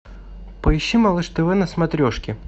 поищи малыш тв на смотрешке